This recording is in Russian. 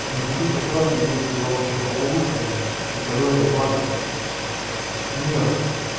ну хочу пожелать тебе всего благополучия здоровья блага мира